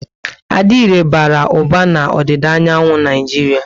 Adire bara uba na odida anyanwu Naijiria